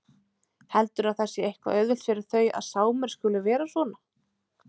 Heldurðu að það sé eitthvað auðvelt fyrir þau að Sámur skuli vera svona?